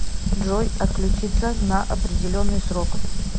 джой отключиться на определенный срок